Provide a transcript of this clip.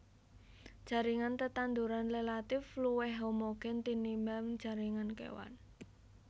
Jaringan tetanduran relatif luwih homogen tinimbang jaringan kéwan